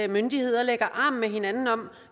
myndigheder lægger arm med hinanden om